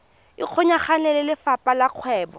ikgolaganye le lefapha la kgwebo